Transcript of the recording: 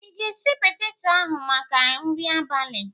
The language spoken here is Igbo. I ga-esi peteto ahụ maka nri abalị?